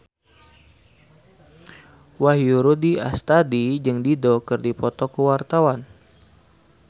Wahyu Rudi Astadi jeung Dido keur dipoto ku wartawan